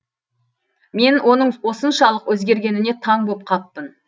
мен оның осыншалық өзгергеніне таң боп қаппын